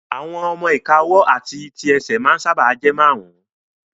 Àwọn ọmọ-ìka ọwọ́ àti àwọn tí ẹsẹ̀ ma ń sáábà jẹ́ márùn